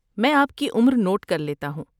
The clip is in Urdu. میں آپ کی عمر نوٹ کر لیتا ہوں۔